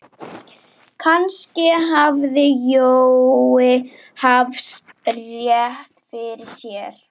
Kannski hafði Jói haft rétt fyrir sér.